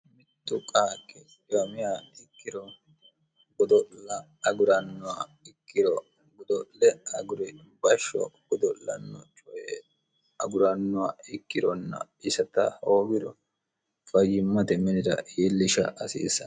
mittu qaakki dimiy ikkiro gdo'gurikigudo'le gurbashsho gudo'lanno cye agurannowa ikkironna isata hoowiro fayyimmate minira yiillisha hasiissane